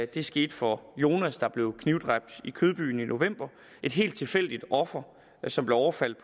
det skete for jonas der blev knivdræbt i kødbyen i november et helt tilfældigt offer som blev overfaldet